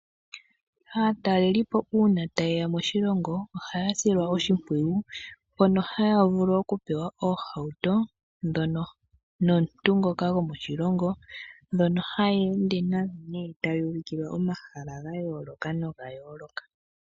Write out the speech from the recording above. Aatelelipo uuna taye ya moshilongo ohaya silwa oshipwiyu mono haya vulu okupewa omahauto nomuntu ngoka gwomoshilongo, dhono haya ende nadho taya ulikilwa omahala ga yooloka noga yooloka.